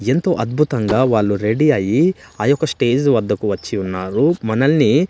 ఎంతో అద్భుతంగా వాళ్ళురెడీ అయ్యి ఆ యొక్క స్టేజ్ వద్దకు వచ్చి ఉన్నారు మనల్ని--